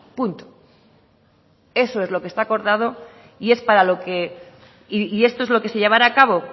punto eso es lo que está acordado y esto es lo que llevará a cabo